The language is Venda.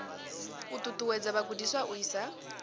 u ṱuṱuwedza vhagudiswa u isa